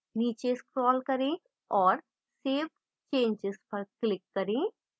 नीचे scroll करें और save changes पर click करें